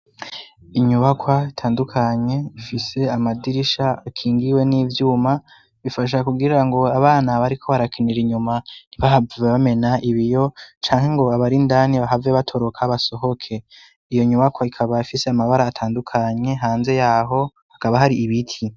Inyubakwa itandukanye ifise amadirisha akingiwe n'ivyuma bifasha kugira ngo abana bariko barakinira inyumantibahave bamena ibiyo canke ngo abarindani bahave batoroka basohoke iyo nyubakwa ikaba afise amabara atandukanye hanze yaho hakaba hari ibiti.